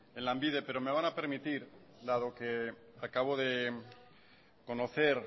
en lanbide pero me van a permitir dado que acabo de conocer